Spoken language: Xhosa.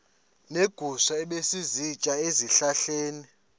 neegusha ebezisitya ezihlahleni